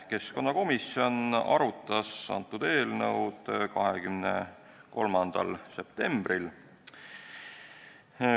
Keskkonnakomisjon arutas antud eelnõu 23. septembril.